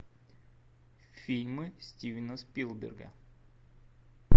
фильмы стивена спилберга